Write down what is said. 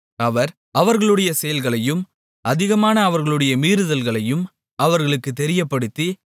அவர் அவர்களுடைய செயல்களையும் அதிகமான அவர்களுடைய மீறுதல்களையும் அவர்களுக்குத் தெரியப்படுத்தி